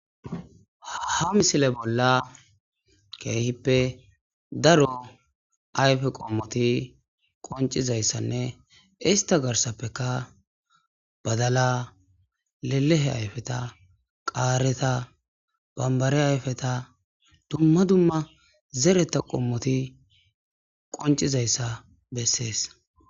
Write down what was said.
ha misile bolla keehippe daro ayfe qommoti qoncizayssanne ista garsappeka badala lelehe ayfeta qaareta bambare ayfeta dumma dumma zereta qommoti qoncizayssa bessees